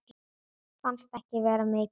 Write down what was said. Fannst ekki vera mikið úrval.